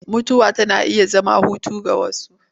Mutuwa tana iya zama hutu ga wasu.